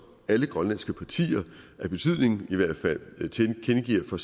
alle grønlandske partier af betydning tilkendegiver